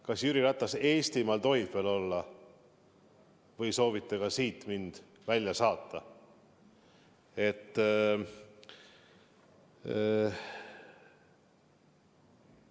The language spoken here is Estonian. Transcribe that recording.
Kas Jüri Ratas Eestimaal tohib veel olla või soovite mind maalt välja saata?